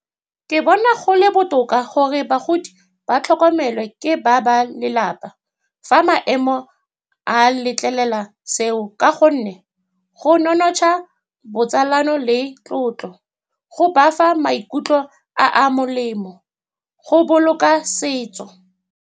Ke bona go le botoka gore bagodi ba tlhokomelwe ke ba lelapa, fa maemo a letlelela seo, ka gonne go nonotsha botsalano le tlotlo, go bafa maikutlo a a molemo, go boloka setso.